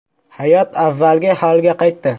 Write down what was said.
Hayot avvalgi holiga qaytdi.